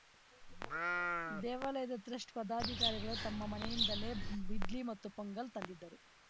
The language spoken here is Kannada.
ದೇವಾಲಯದ ಟ್ರಸ್ಟ್‌ ಪದಾಧಿಕಾರಿಗಳು ತಮ್ಮ ಮನೆಯಿಂದಲೇ ಇಡ್ಲಿ ಮತ್ತು ಪೊಂಗಲ್‌ ತಂದಿದ್ದರು